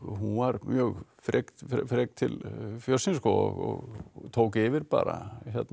hún var mjög frek frek til fjörsins og tók yfir bara